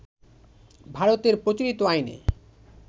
ভারতের প্রচলিত আইনে